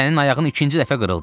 Sənin ayağın ikinci dəfə qırıldı.